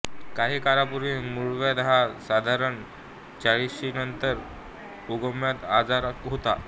काही काळापूर्वी मुळव्याध हा साधारण चाळीशीनंतर उद्भवणारा आजार होता